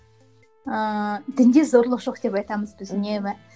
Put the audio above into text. ііі дінде зорлық жоқ деп айтамыз біз үнемі